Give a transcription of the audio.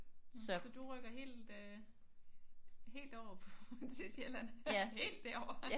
Så du rykker helt øh helt over til Sjælland helt derover